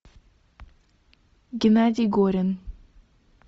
геннадий горин